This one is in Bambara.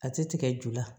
A ti tigɛ ju la